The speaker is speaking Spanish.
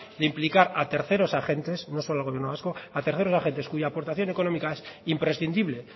de implicar a terceros agentes no solo al gobierno vasco cuya aportación económica es imprescindible